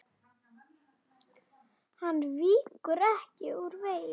Hann víkur ekki úr vegi.